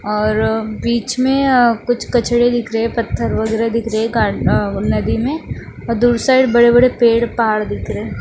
और बीच में अ कुछ कचड़े दिख रहे हैं पत्थर वगैरह दिख रहे हैं का अ नदी में और दूर साइड बड़े बड़े पेड़ पहाड़ दिख रहे हैं।